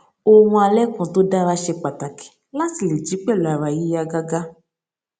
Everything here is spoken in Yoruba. oorun alẹ kan tó dára ṣe pàtàkì láti lè jí pẹlú ara yíyá gágá